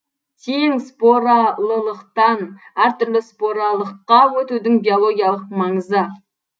тең споралылықтан әр түрлі споралыққа өтудің биологиялық маңызы